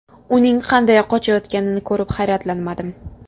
Uning qanday qochayotganini ko‘rib hayratlanmadim.